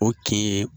O kin ye